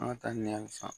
An ka taa ni hali san